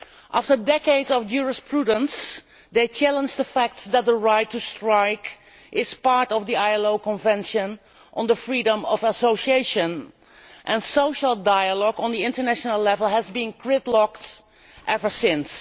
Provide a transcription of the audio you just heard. After decades of jurisprudence, they challenged the fact that the right to strike was part of the ILO Convention on the Freedom of Association, and social dialogue on the international level has been gridlocked ever since.